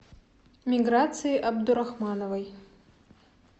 миграции абдурахмановой